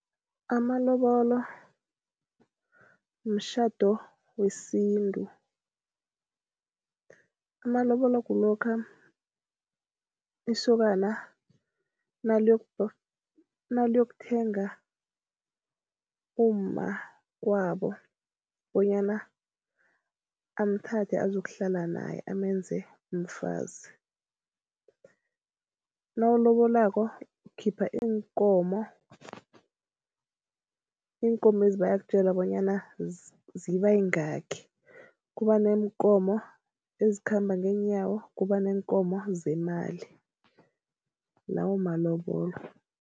Amalobolo mtjhado wesintu. Amalobolo kulokha isokana naliyokuthenga umma kwabo bonyana amthathe azokuhlala naye amenze umfazi. Nawulobolako ukukhipha iinkomo, iinkomezi bayakutjela bonyana ziba yingakhi. Kuba neenkomo ezikhamba ngeenyawo, kuba neenkomo zemali, lawo malobolo.